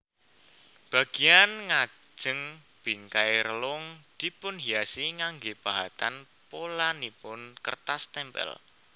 Bagian ngajeng bingkai relung dipunhiasi nganggé pahatan polanipun kertas témpél